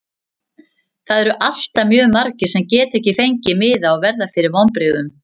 Það eru alltaf mjög margir sem geta ekki fengið miða og verða fyrir vonbrigðum.